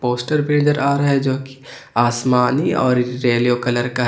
Poster भी नजर आ रहा है जोकि आसमानी और रेलियो कलर का है।